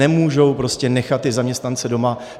Nemůžou prostě nechat ty zaměstnance doma.